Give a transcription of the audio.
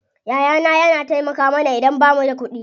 Yaya na yana taimaka mana idan bamu da kuɗi.